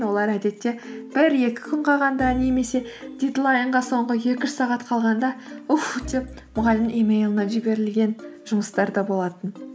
олар әдетте бір екі күн қалғанда немесе дедлайнға соңғы екі үш сағат қалғанда ух деп мұғалімнің емейліне жіберілген жұмыстар да болатын